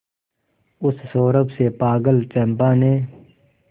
उस सौरभ से पागल चंपा ने